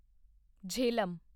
Jhelum